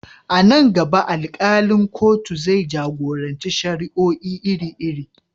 A nan gaba, alkalin kotun zai jagoranci shari'o'i iri-iri.